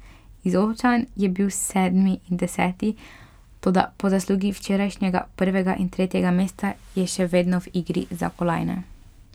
Izolčan je bil sedmi in deseti, toda po zaslugi včerajšnjega prvega in tretjega mesta je še vedno v igri za kolajne.